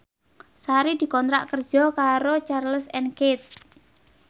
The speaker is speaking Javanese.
Sari dikontrak kerja karo Charles and Keith